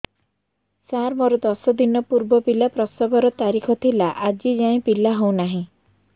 ସାର ମୋର ଦଶ ଦିନ ପୂର୍ବ ପିଲା ପ୍ରସଵ ର ତାରିଖ ଥିଲା ଆଜି ଯାଇଁ ପିଲା ହଉ ନାହିଁ